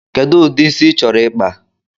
Kedu udi ịsị ị chọrọ ikpa?